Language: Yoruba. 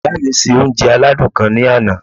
Ìyá mi se oúnje aládùn kan ní ana